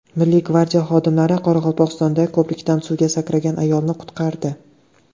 Milliy gvardiya xodimlari Qoraqalpog‘istonda ko‘prikdan suvga sakragan ayolni qutqardi.